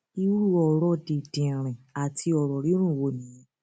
irú ọrọ dìndìnrìn àti ọrọ rírùn wo nìyẹn